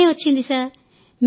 చాలా లాభమే వచ్చింది సార్